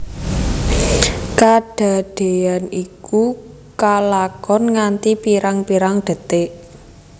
Kadadéyan iku kalakon nganti pirang pirang detik